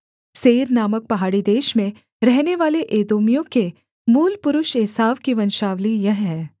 Seir नामक पहाड़ी देश में रहनेवाले एदोमियों के मूलपुरुष एसाव की वंशावली यह है